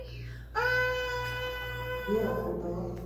вера котова